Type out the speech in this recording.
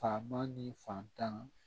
Fama ni fantan